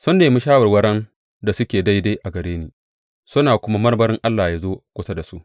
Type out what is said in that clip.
Sun nemi shawarwaran da suke daidai daga gare ni suna kuma marmari Allah ya zo kusa da su.